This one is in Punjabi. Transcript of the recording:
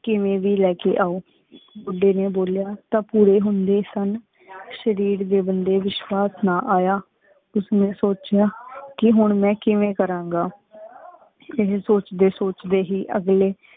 ਕਿਵੇਂ ਵੀ ਲੈ ਕੇ ਆਓ, ਬੂਡੀ ਨੇ ਬੋਲਿਆ, ਤਾ ਪੂਰੇ ਹੁੰਦੇ ਸਨ ਸਰੀਰ ਦੇ ਬੰਦੇ ਵਿਸ਼ਵਾਸ ਨਾ ਆਯਾ। ਉਸਨੇ ਸੋਚਿਆ ਕੇ ਹੁਣ ਮੈਂ ਕਿਵੇਂ ਕਰਾਂਗਾ। ਇਹ ਸੋਚਦੇ ਸੋਚਦੇ ਹੀ ਅਗਲੇ